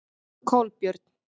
Kolbjörn